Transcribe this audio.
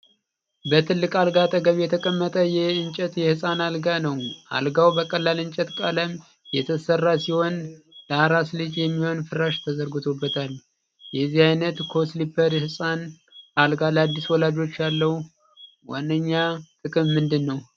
በትልቅ አልጋ አጠገብ የተቀመጠ የእንጨት የህፃን አልጋ ነው። አልጋው በቀላል እንጨት ቀለም የተሰራ ሲሆን ለአራስ ልጅ የሚሆን ፍራሽ ተዘርግቶበታል። የዚህ አይነት "Co-sleeper" የህፃን አልጋ ለአዲስ ወላጆች ያለው ዋነኛ ጥቅም ምንድን ነው?